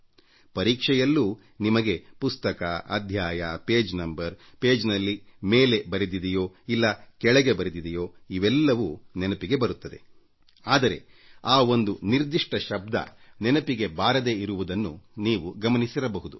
ಪರೀಕ್ಷೆಯಲ್ಲೂ ನಿಮಗೆ ಪುಸ್ತಕ ಅಧ್ಯಾಯ ಪುಟ ಸಂಖ್ಯೆ ಪುಟದಲ್ಲಿ ಮೇಲೆ ಬರೆದಿದ್ದ ಇಲ್ಲ ಕೆಳಗೆ ಬರೆದಿರುವ ಇವೆಲ್ಲವೂ ನೆನಪಿಗೆ ಬರುತ್ತವೆ ಆದರೆ ಆ ಒಂದು ನಿರ್ದಿಷ್ಟ ಶಬ್ದ ನೆನಪಿಗೆ ಬಾರದೇ ಇರುವುದನ್ನು ನೀವು ಗಮನಿಸಿರಬಹುದು